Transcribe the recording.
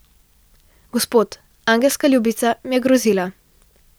Gospod, angelska ljubica mi je grozila.